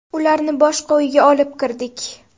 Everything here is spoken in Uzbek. Ularni boshqa uyga olib kirdik.